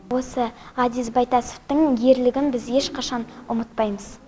осы ғазиз байтасовтың ерлігін біз ешқашан ұмытпаймыз